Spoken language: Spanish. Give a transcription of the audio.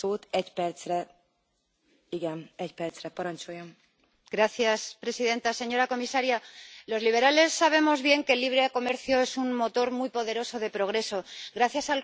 Señora presidenta, señora comisaria, los liberales sabemos bien que el libre comercio es un motor muy poderoso de progreso, gracias al cual cientos de millones de personas han salido de la pobreza.